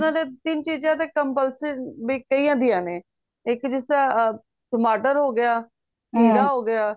ਉਹਨਾ ਦੇ ਤਿੰਨ ਚੀਜ਼ਾਂ ਤਾਂ compulsory bakery ਦੀਆਂ ਨੇ ਇੱਕ ਜਿਸ ਤਰ੍ਹਾਂ ਟਮਾਟਰ ਹੋ ਗਿਆ ਹੋ ਗਿਆ